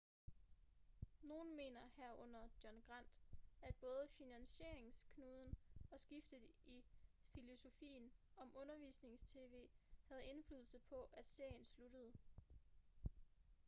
nogen mener herunder john grant at både finansieringsknuden og skiftet i filosofien om undervisnings-tv havde indflydelse på at serien sluttede